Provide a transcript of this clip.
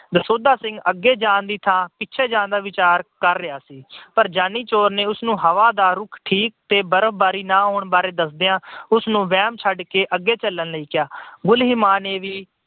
ਦਸੌਂਧਾ ਸਿੰਘ ਅੱਗੇ ਜਾਣ ਦੀ ਥਾਂ ਪਿੱਛੇ ਜਾਣ ਦਾ ਵਿਚਾਰ ਕਰ ਰਿਹਾ ਸੀ ਪਰ ਜਾਨੀ ਚੋਰ ਨੇ ਉਸਨੂੰ ਹਵਾ ਦਾ ਰੁਖ ਠੀਕ ਤੇ ਬਰਫਬਾਰੀ ਵਾਰੇ ਦੱਸਦਿਆਂ ਉਸਨੂੰ ਵਹਿਮ ਛੱਡ ਕੇ ਅੱਗੇ ਚਲਣ ਲਈ ਕਿਹਾ। ਗੁਲੀਮਾ ਨੇ ਵੀ